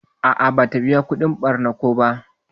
A'a bata biƴa kudin barna ko ba.